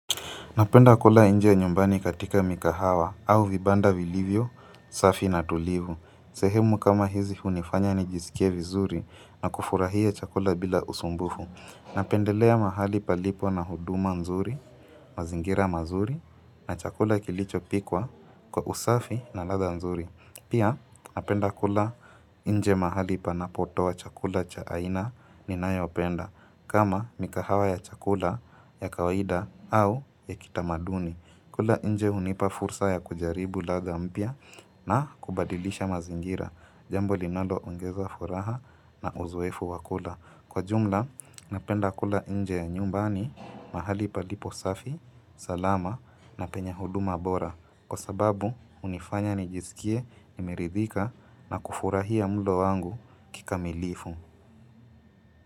Napenda kula inje nyumbani katika mikahawa au vibanda vilivyo, safi na tulivu. Sehemu kama hizi hunifanya nijizikie vizuri na kufurahia chakula bila usumbufu. Napendelea mahali palipo na huduma nzuri, mazingira mazuri na chakula kilicho pikwa kwa usafi na ladha nzuri. Pia napenda kula inje mahali panapotoa chakula cha aina ninayopenda kama mikahawa ya chakula ya kawaida au ya kitamaduni. Kula inje unipa fursa ya kujaribu ladha mpya na kubadilisha mazingira jambo linalo ongeza furaha na uzoefu wakula. Kwa jumla, napenda kula inje nyumbani, mahali palipo safi, salama na penye huduma bora. Kwa sababu, unifanya nijisikie, nimeridhika na kufurahia mlo wangu kikamilifu.